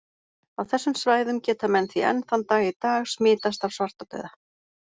Á þessum svæðum geta menn því enn þann dag í dag smitast af svartadauða.